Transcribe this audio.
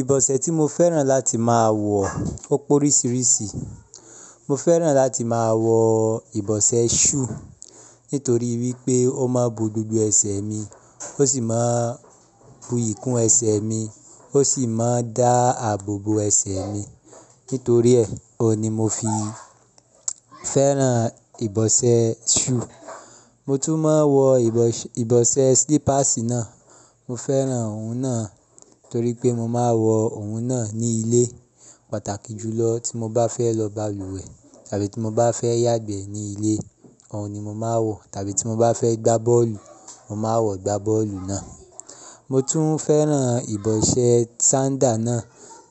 Ìbọ̀sẹ̀ tí mo fẹ́ràn láti máa wọ ó pó ríṣiríṣi. Mo fẹ́ràn láti máa wọ ìbọ̀sẹ̀ shoe nítorí wípé ó ma bo gbogbo ẹsẹ̀ mi, ó sì máa bu ìkún ẹsẹ̀ mi, ó sì máa dá àbò bo ẹsẹ̀ mi. Nítorí ẹ̀, òun ni mo fi fẹ́ràn ìbọ̀sẹ̀ shoe. Mo tún máa ń wọ ìbọ̀sẹ̀ slippers náà, mo fẹ́ràn òun náà torí pé mo máa ń wọ òun náà ní ilé pàtàkì jùlọ tí mo bá fẹ́ lọ balùwẹ̀ tàbí tí mo bá fẹ́ yàgbẹ́ ní ilé, òun ni mo máa ń wọ, tàbí tí mo bá fẹ́ gbá bọ́ọ̀lù, mo máa ń wọ gbá bọ́ọ̀lù náà. Mo tún fẹ́ràn ìbọ̀sẹ̀ sandal náà